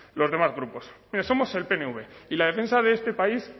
los demás grupos mire somos el pnv y la defensa de este país